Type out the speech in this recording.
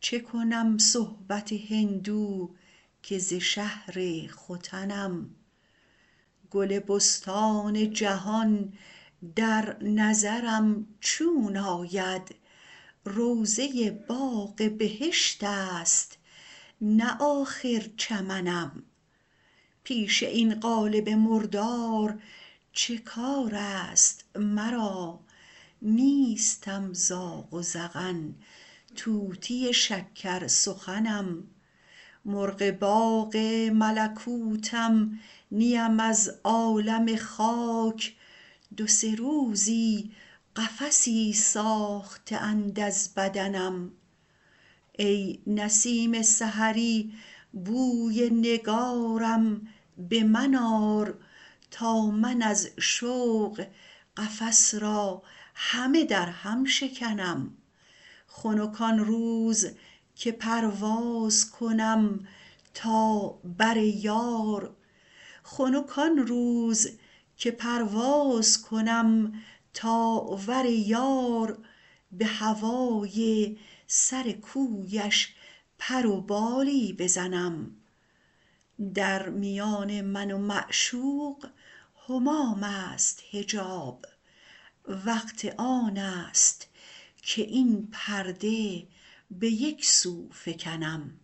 چه کنم صحبت هندو که ز شهر ختنم گل بستان جهان در نظرم چون آید روضه باغ بهشت است نه آخر چمنم پیش این قالب مردار چه کار است مرا نیستم زاغ و زغن طوطی شکر سخنم مرغ باغ ملکوتم نیم از عالم خاک دو سه روزی قفسی ساخته اند از بدنم ای نسیم سحری بوی نگارم به من آر تا من از شوق قفس را همه درهم شکنم خنک آن روز که پرواز کنم تا ور یار به هوای سر کویش پر و بالی بزنم در میان من و معشوق همام است حجاب وقت آن است که این پرده به یک سو فکنم